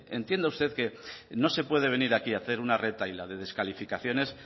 decir entienda usted que no se puede venir aquí a hacer una retahíla de descalificaciones